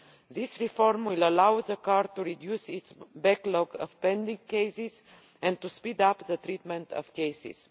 This reform will allow the Court to reduce its backlog of pending cases and to speed up the treatment of cases.